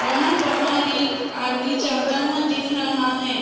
वहाँ बाहर एक आदमी जाता हुआ दिख रहा है ।